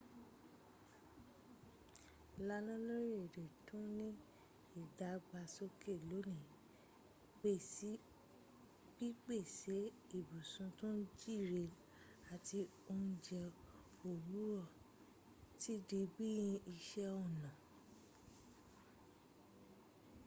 láwọn orílèèdè tó ni ìdàgbàsóké lónìí pípèsè ibùsùn tó jíire àti oúnjẹ òwúrọ̀ ti di bí i iṣẹ̀ ọnà